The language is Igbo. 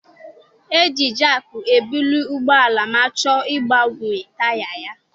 E ji jaakị ebuli ụgbọala ma a chọọ ịgbanwe taya ya.